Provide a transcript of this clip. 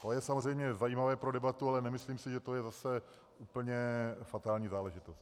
To je samozřejmě zajímavé pro debatu, ale nemyslím si, že to je zase úplně fatální záležitost.